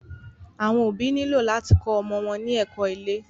Àwọn òbí nílò láti kó ọmọ wọn ní ẹ̀kó ilé.